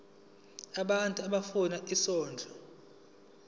abantu abafuna isondlo